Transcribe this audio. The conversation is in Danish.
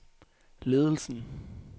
ledelsen